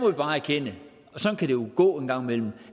vi bare erkende og jo gå en gang imellem